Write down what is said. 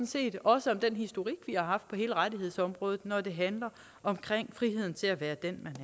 set også om den historik vi har haft på hele rettighedsområdet når det handler om friheden til at være den